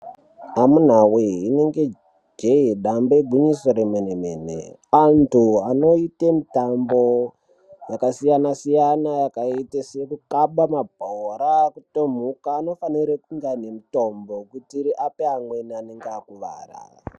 Amunawee rinenge jee dambe igwinyiso remene-mene, antu anoite mitambo yakasiyana-siyana yakaite sekukaba mabhora kutomhuka anofanire kunge ane mutombo kuitire ape amweni anenge akuvara.